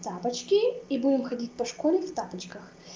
тапочки и будем ходить по школе в тапочках